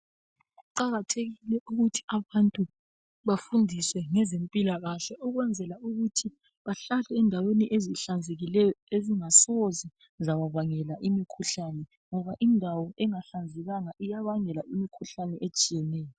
Kuqakathekile ukuthi abantu bafundiswe ngezempilalakahle ukwenzela ukuthi bahlale endaweni ezihlanzekileyo azingasoze zababangela imikhuhlane, ngoba indawo engahlanzekanga iyabangela imikhuhlane etshiyeneyo.